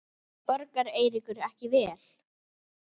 Borgar Eiríkur ekki vel?